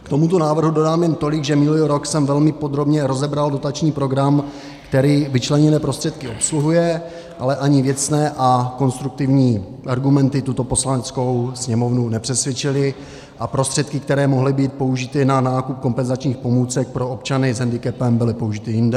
K tomuto návrhu dodám jen tolik, že minulý rok jsem velmi podrobně rozebral dotační program, který vyčleněné prostředky obsluhuje, ale ani věcné a konstruktivní argumenty tuto Poslaneckou sněmovnu nepřesvědčily a prostředky, které mohly být použity na nákup kompenzačních pomůcek pro občany s hendikepem, byly použity jinde.